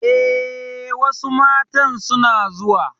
Eh, wasu matan suna zuwa